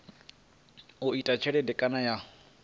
u ita tshelede kana ya